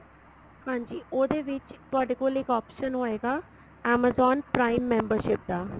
ਹਾਂਜੀ ਉਹਦੇ ਵਿੱਚ ਤੁਹਾਡੇ ਕੋਲ ਇੱਕ option ਹੋਏਗਾ amazon prime membership ਦਾ